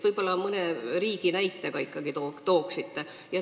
Võib-olla te mõne riigi näite ikkagi tooksite?